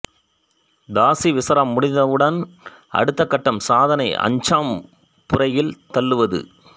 தாசீ விசாரம் முடிந்தவுடன் அடுத்த கட்டம் சாதனத்தை அஞ்சாம் புறையில் தள்ளுவது